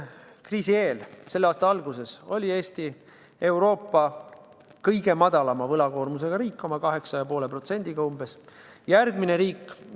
Kriisi eel, selle aasta alguses oli Eesti Euroopa kõige väiksema võlakoormusega riik, meie võlg oli umbes 8,5%.